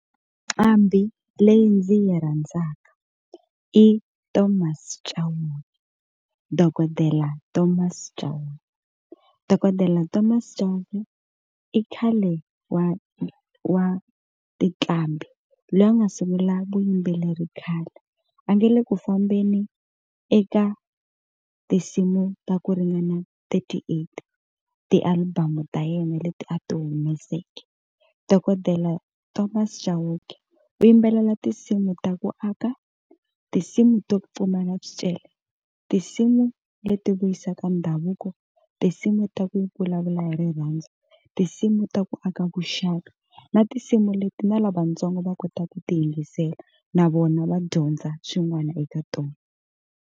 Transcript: Nqambhi leyi ndzi yi rhandzaka i Thomas Chauke dokodela Thomas Chauke, Dokodela Thomas Chauke i khale wa wa tinqambi loyi a nga sungula vuyimbeleri khale a nge le ku fambeni eka tinsimu ta ku ringana thirty eight ti-album ta yena leti a ti humeseke, Dokodela Thomas Chauke u yimbelela tinsimu ta ku aka tinsimu to pfumala swicele tinsimu leti vuyisaka ndhavuko tinsimu ta ku vulavula hi rirhandzu tinsimu ta ku aka vuxaka na tinsimu leti na lavatsongo va kota ku ti yingisela na vona va dyondza swin'wana eka tona.